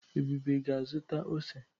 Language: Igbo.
Ebube ga-azụta ose.